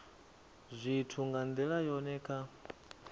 zwithu nga ndila yone kha